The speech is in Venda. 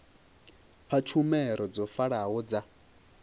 fha tshumelo dzo vhalaho dza